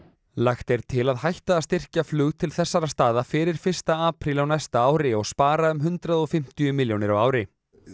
lagt er til að hætta að styrkja flug til þessara staða fyrir fyrsta apríl á næsta ári og spara um hundrað og fimmtíu milljónir á ári